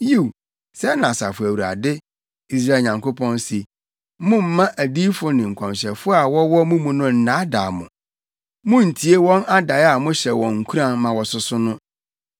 Yiw, sɛɛ na Asafo Awurade, Israel Nyankopɔn se: “Mommma adiyifo ne nkɔmhyɛfo a wɔwɔ mo mu no nnaadaa mo. Munntie wɔn adae a mohyɛ wɔn nkuran ma wɔsoso no.